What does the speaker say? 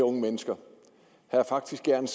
unge mennesker og faktisk gerne